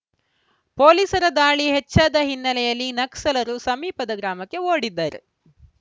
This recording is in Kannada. ಪೊಲೀಸರ ದಾಳಿ ಹೆಚ್ಚಾದ ಹಿನ್ನೆಲೆಯಲ್ಲಿ ನಕ್ಸಲರು ಸಮೀಪದ ಗ್ರಾಮಕ್ಕೆ ಓಡಿದ್ದಾರೆ